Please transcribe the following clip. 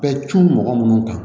Bɛɛ cun mɔgɔ munnu kan